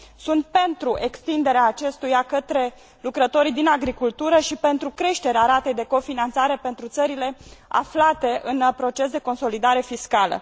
Sunt pentru extinderea acestuia către lucrătorii din agricultură și pentru creșterea ratei de cofinanțare pentru țările aflate în proces de consolidare fiscală.